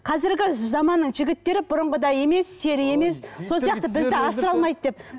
қазіргі заманның жігіттері бұрынғыдай емес сері емес сол сияқты бізді асырай алмайды деп